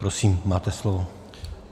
Prosím, máte slovo.